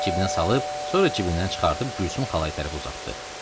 Əlini cibinə salıb, sonra cibindən çıxardıb Gülsüm xalaya tərəf uzatdı.